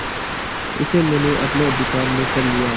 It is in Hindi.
उसे मैंने अपने अधिकार में कर लिया